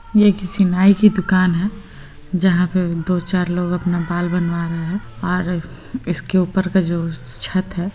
ये किसी नाई की दुकान है जहाँ पे दो चार लोग अपना बाल बनवा रहे है और इसके ऊपर का जो छत है --